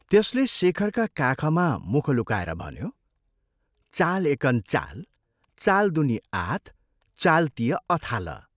त्यसले शेखरका काखमा मुख लुकाएर भन्यो, "चाल एकान चाल चाल दुनी आथ, चाल तिय अथालह!